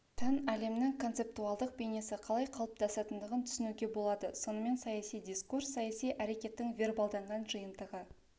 тән әлемнің концептуалдық бейнесі қалай қалыптасатындығын түсінуге болады сонымен саяси дискурс саяси әрекеттің вербалданған жиынтығы